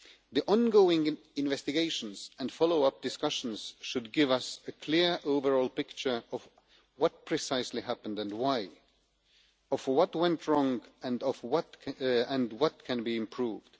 The ongoing investigations and follow-up discussions should give us a clear overall picture of what precisely happened and why, what went wrong and what can be improved.